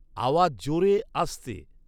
আওয়াজ জোরে আস্তে